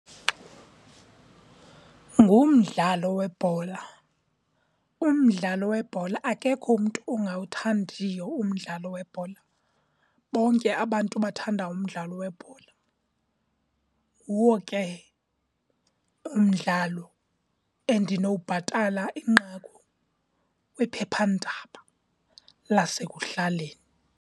Ngumdlalo webhola. Umdlalo webhola akekho umntu ungawuthandiyo umdlalo webhola, bonke abantu bathanda umdlalo webhola. Nguwo ke umdlalo endinowubhatala inqaku kwiphephandaba lasekuhlaleni.